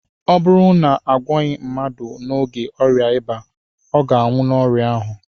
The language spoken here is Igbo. ọ bụrụ na a gwọọghị mmadụ n'oge ọrịa ịba, ọ ga-anwụ n'ọrịa ahụ